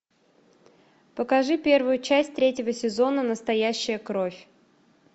покажи первую часть третьего сезона настоящая кровь